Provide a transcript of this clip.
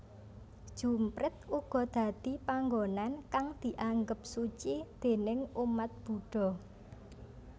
Jumprit uga dadi panggonan kang dianggep suci déning umat Budha